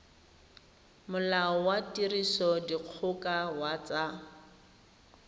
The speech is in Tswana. molao wa tirisodikgoka wa tsa